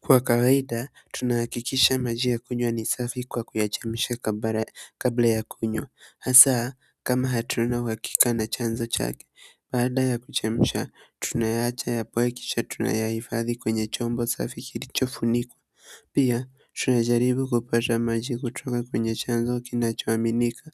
Kwa kawaida, tunakikisha maji ya kunywa ni safi kwa kuyachemsha kabla ya kunywa. Hasaa, kama hatuna uhakika na chanzo chake, baada ya kuchemsha, tunayaacha ya poe kisha tunayahifadhi kwenye chombo safi kilicho funikwa. Pia, tunajaribu kupata maji kutoka kwenye chanzo kinacho aminika.